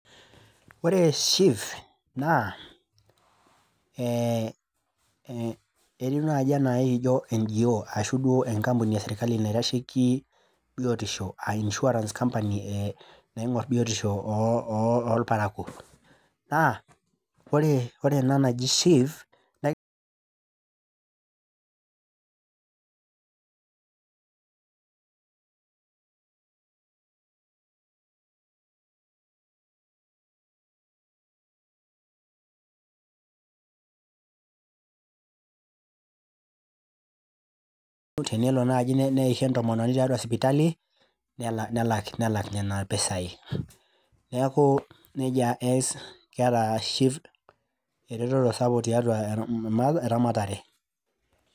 Ore SHIF naa ee e etiu naji anaa ekijo NGO ashu duo enkampuni esirkali naitasheiki e naitasheiki bitisho aa insurance company naingor biotisho oo orparakuo . Kake ore ena naji SHIF tenelo naji neisho entomononi tiatua sipitali , nelaki, nelak nena pisai . Niaku nejia eas , keeta SHIF ereteto sapuk tiatua eramatare.